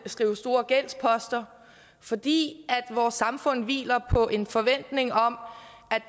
store gældsposter fordi vores samfund hviler på en forventning om